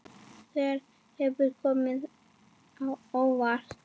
Hver hefur komið á óvart?